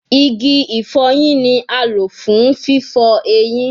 Igi ifoyin ni a lo fun fifọ eyin